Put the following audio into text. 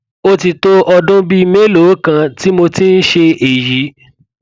ó ti tó ọdún bíi mélòó kan tí mo ti ń ṣe èyí